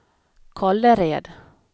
Kållered